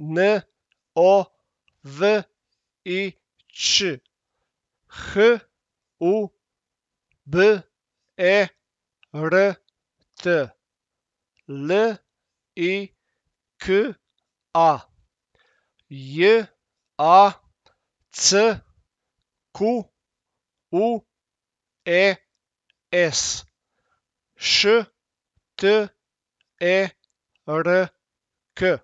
N O V I Ć; H U B E R T, L I K A; J A C Q U E S, Š T E R K.